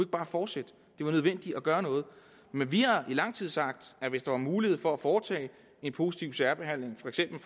bare fortsætte det var nødvendigt at gøre noget men vi har i lang tid sagt at hvis der var mulighed for at foretage positiv særbehandling for eksempel